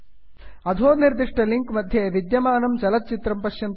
अधो निर्दिष्टलिंक् मध्ये विद्यमानं चलच्चित्रं पश्यन्तु